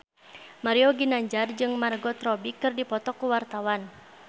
Mario Ginanjar jeung Margot Robbie keur dipoto ku wartawan